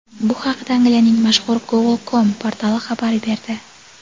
Bu haqida Angliyaning mashhur "Goal.com" portali xabar berdi.